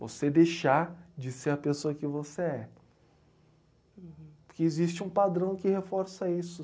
Você deixar de ser a pessoa que você é. Uhum. Porque existe um padrão que reforça isso.